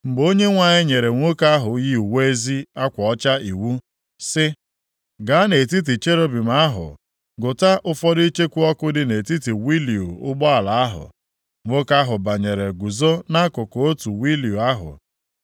Mgbe Onyenwe anyị nyere nwoke ahụ yi uwe ezi akwa ọcha iwu, sị, “Gaa nʼetiti cherubim ahụ gụta ụfọdụ icheku ọkụ dị nʼetiti wịịlu ụgbọala ahụ,” nwoke ahụ banyere guzo nʼakụkụ otu wịịlu ahụ.